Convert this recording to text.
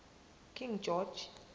king george